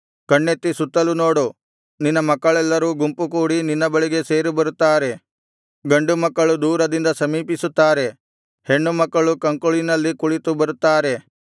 ಕಣ್ಣೆತ್ತಿ ಸುತ್ತಲು ನೋಡು ನಿನ್ನ ಮಕ್ಕಳೆಲ್ಲರೂ ಗುಂಪುಕೂಡಿ ನಿನ್ನ ಬಳಿಗೆ ಸೇರಿಬರುತ್ತಾರೆ ಗಂಡುಮಕ್ಕಳು ದೂರದಿಂದ ಸಮೀಪಿಸುತ್ತಾರೆ ಹೆಣ್ಣುಮಕ್ಕಳು ಕಂಕುಳಿನಲ್ಲಿ ಕುಳಿತು ಬರುತ್ತಾರೆ